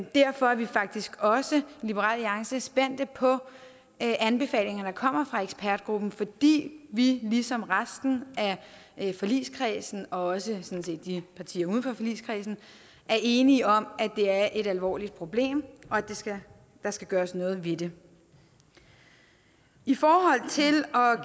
derfor er vi faktisk også i liberal alliance spændt på anbefalingerne der kommer fra ekspertgruppen fordi vi ligesom resten af forligskredsen og også partierne uden for forligskredsen er enige om at det er et alvorligt problem og at der skal skal gøres noget ved det i forhold til at